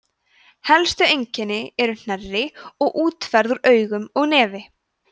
helstu einkennin eru hnerri og útferð úr augum og nefi